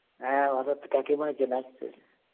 হ্যাঁ কাকিমা এখানে আসছে